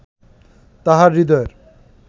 তাঁহার হৃদয়ের